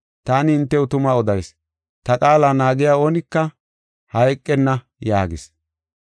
Taani hintew tuma odayis; ta qaala naagiya oonika hayqenna” yaagis.